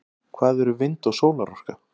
hvað eru vind og sólarorka